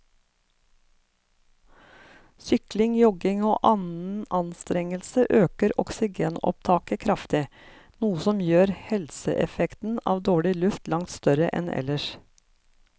Sykling, jogging og annen anstrengelse øker oksygenopptaket kraftig, noe som gjør helseeffekten av dårlig luft langt større enn ellers.